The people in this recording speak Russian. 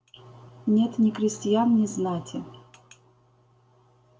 нет ни крестьян ни знати